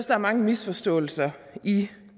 er mange misforståelser i